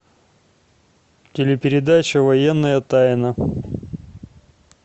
телепередача военная тайна